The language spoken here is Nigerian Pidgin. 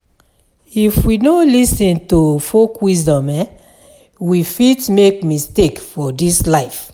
If we no lis ten to folk wisdom um, we fit make mistake for dis life.